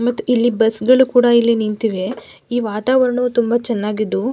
ಮತ್ತೆ ಇಲ್ಲಿ ಬಸ್ಸ್ಗಳು ಕೂಡ ಇಲ್ಲಿ ನಿಂತಿವೆ ಈ ವಾತಾವರಣವು ತುಂಬ ಚೆನ್ನಾಗಿದ್ದು--